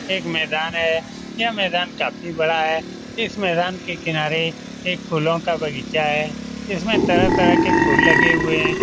एक मैदान है यह मैदान काफ़ी बड़ा है इस मैदान के किनारे एक फूलों का बगीचा है इसमें तरह तरह के फुल लगे हुएँ हैं ।